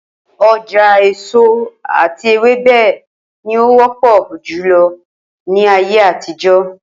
O̩jà èso àti ewébè̩ ni ó wó̩pò̩ jùlo̩ ní ayé àtijó̩